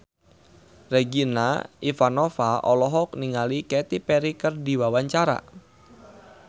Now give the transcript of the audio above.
Regina Ivanova olohok ningali Katy Perry keur diwawancara